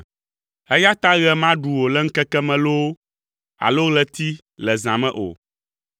eya ta ɣe maɖu wò le ŋkeke me loo, alo ɣleti le zã me o.